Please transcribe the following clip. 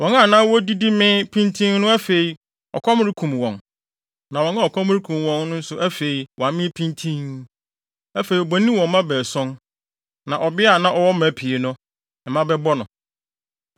Wɔn a na wodidi mee pintinn no afei, ɔkɔm rekum wɔn. Na wɔn a ɔkɔm rekum wɔn no nso afei, wɔamee pintinn. Afei, obonin wɔ mma baason. Na ɔbea a na ɔwɔ mma pii no, mma bɛbɔ no.